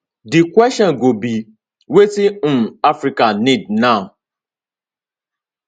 di kwesion go be wetin um africa need now